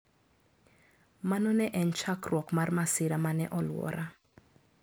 Mano ne en chakruok mar masira ma ne olwora.